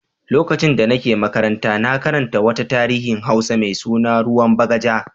Lokacin da nake makaranta na karanta wata tarihin Hausa mai suna "Ruwan Bagaja".